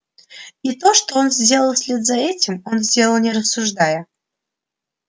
и то что он сделал вслед за этим он сделал не рассуждая